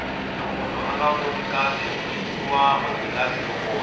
loko munhu anga voni kahle u nyikiwa manghilazi yo vona